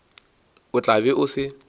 o tla be o se